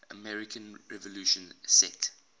american revolution set